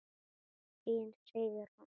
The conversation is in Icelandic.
Þín Sigrún.